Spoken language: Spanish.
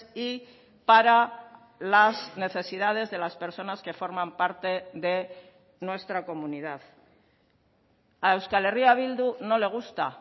y para las necesidades de las personas que forman parte de nuestra comunidad a euskal herria bildu no le gusta